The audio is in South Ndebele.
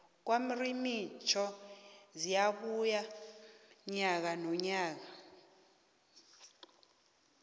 kwamrimitjho ziyabuya nyaka nonyaka